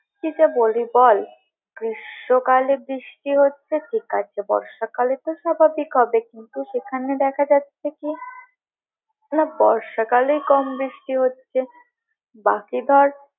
কি যে বলবি বল, গ্রীষ্মকালে বৃষ্টি হচ্ছে ঠিক আছে, বর্ষা কালে তো স্বাভাবিক হবেই কিন্তু সেখানে দেখা যাচ্ছে কি না বর্ষাকালেই কম বৃষ্টি হচ্ছে বাকি ধর।